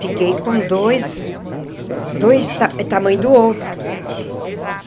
Fiquei com dois dois ta tamanho do ovo.